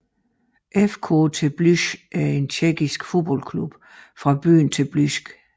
FK Teplice er en tjekkisk fodboldklub fra byen Teplice